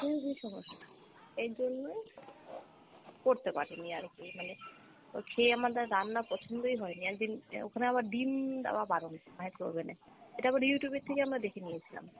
খুব ই সমস্যা, এরজন্যই করতে পারিনি আরকি মানে খেয়ে আমাদের রান্না পছন্দই হয়নি, একদিন ওখানে আবার ডিম দেওয়া বারণ, micro oven এ, এটা আবার Youtube এর থেকে আমরা দেখে নিয়েছিলাম।